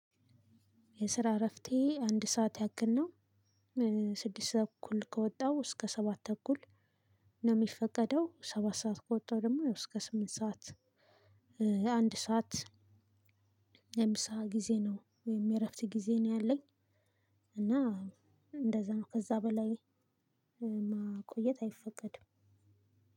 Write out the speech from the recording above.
የስራ እረፍቴ አንድ ሰዓት ያክል ነው። ስድስት ተኩል ከወጣው እስከ ሰባት ተኩል ነው ሚፈቀደው ሰባት ሰዓት ከወጣው ደሞ እስከ ስምንት ሰዓት። አንድ ሰዓት የምሳ ጊዜ ነው ወይም የእረፍት ጊዜ ነው ያለኝ። እና እንደዛ ነው ከዛ በላይ ማቆየት አይፈቀድም።